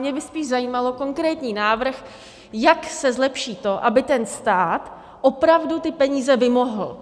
Mě by spíš zajímal konkrétní návrh, jak se zlepší to, aby ten stát opravdu ty peníze vymohl.